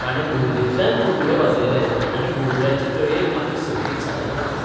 ताणे मुरलेंतल्यान बुडबुडे वाजयले आनी बुडबुड्यांचे तळयेक आपली संगीत साधना ओंपली.